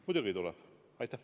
Muidugi tuleb!